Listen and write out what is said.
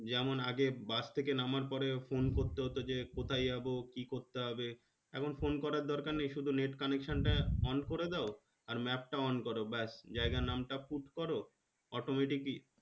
যেমন আগে bus থেকে নামার পরে phone করতে হতো যে কোথায় যাবো কি করতে হবে এখন phone করার দরকার নেই শুধু net connection টা on করে দাও আর map টা on করো ব্যাস জায়গার নামটা put করো automatic ই